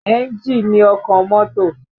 Ẹ́ńjì ni ọkàn mọ́tò